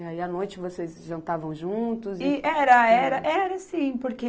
E aí, à noite vocês jantavam juntos... E era, era, era sim, porque...